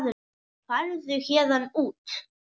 Farðu héðan út.